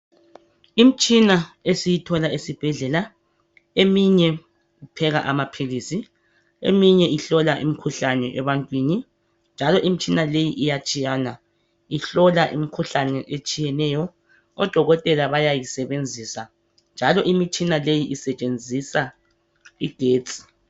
Imtshina esiyithola esibhedlela. Eminye ipheka amaphilisi , eminye ihlola imikhuhlane ebantwini. Njalo imitshina leyi iyatshiyana. Ihlola imikhuhlane etshiyeneyo. Odokotela bayayisebenzisa, njalo imitshina leyi isetshenzisa igetsi.